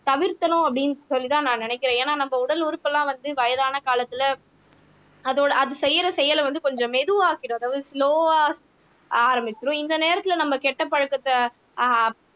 தவிர்க்கணும் அப்படின்னு சொல்லிதான் நான் நினைக்கிறேன் ஏன்னா நம்ம உடல் உறுப்பு எல்லாம் வந்து வயதான காலத்துல அதோட அது செய்யற செயலை வந்து கொஞ்சம் மெதுவா ஆக்கிடும் அதாவது ஸ்லொவா ஆரம்பிச்சுரும் இந்த நேரத்துல நம்ம கெட்ட பழக்கத்தை ஆஹ்